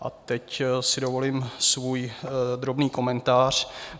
A teď si dovolím svůj drobný komentář.